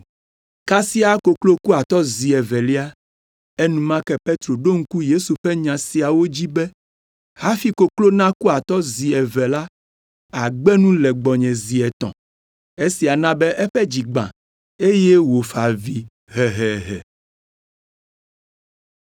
Kasia koklo ku atɔ zi evelia. Enumake Petro ɖo ŋku Yesu ƒe nya siawo dzi be, “Hafi koklo naku atɔ zi eve la, àgbe nu le gbɔnye zi etɔ̃.” Esia na be eƒe dzi gbã eye wòfa avi hehehe.